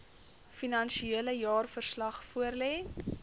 finansiële jaarverslag voorlê